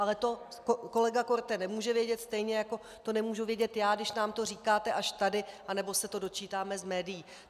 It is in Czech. Ale to kolega Korte nemůže vědět, stejně jako to nemůžu vědět já, když nám to říkáte až tady nebo se to dočítáme z médií.